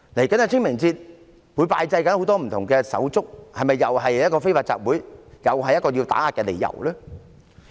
屆時市民會拜祭很多不同的手足，是否又是非法集會，又是一個打壓的理由呢？